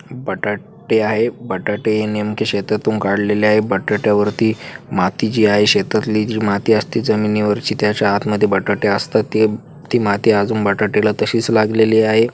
बटाटे आहे. बटाटे हे नेमके शेतातून काढलेले आहे. बटाट्यावरती माती जी आहे शेतातली जी माती असती जमीनीवरची त्याच्या आतमध्ये बटाटे असतात ते ती माती अजून बटाट्याला तशीच लागलेली आहे.